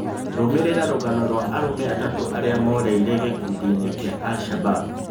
Rũmĩrĩra rũgano rwa arũme atatũ arĩa morire gĩkundiinĩ kĩa Al Shabab.